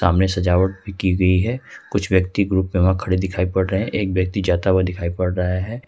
सामने सजावट की गई है कुछ व्यक्ति ग्रुप में वहां खड़े दिखाई पड़ रहे एक व्यक्ति जाता हुआ दिखाई पड़ रहा है।